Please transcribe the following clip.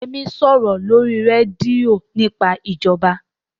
Yẹmí ń sọ̀rọ̀ lórí rédíò nípa ìjọba